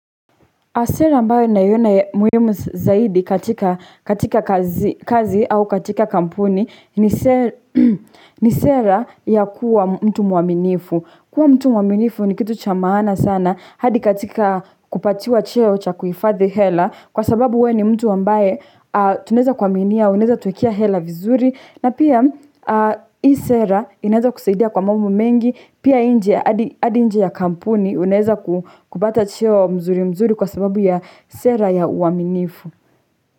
Sera ambayo ninaiona ya muhimu zaidi katika kazi au katika kampuni ni sera ya kua mtu muaminifu. Kuwa mtu muaminifu ni kitu cha maana sana hadi katika kupatiwa cheo cha kuhifadhi hela. Kwa sababu we ni mtu ambaye tuneza kuaminia, unaeza tuekea hela vizuri. Na pia, hii sera inaeza kusaidia kwa mambo mengi, pia nje ya hadi nje ya kampuni, unaeza kupata cheo mzuri mzuri kwa sababu ya sera ya uaminifu.